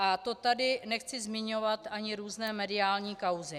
A to tady nechci zmiňovat ani různé mediální kauzy.